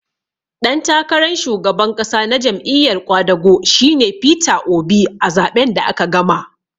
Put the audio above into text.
Ɗan takaran shugaban ƙasa na Jam'iyar ƙwadago shi ne Peter Obi a zaɓen da aka gama